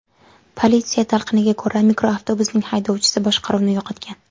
Politsiya talqiniga ko‘ra, mikroavtobusning haydovchisi boshqaruvni yo‘qotgan.